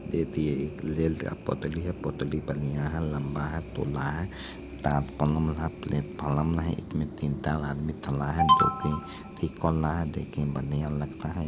देखिए ये रेल का पटरी है पटरी बढ़िया है लम्बा हैचौरा है है प्लेटफार्म में तीन चार आदमी खड़ा है जो की देखने में बढ़िया लगता है।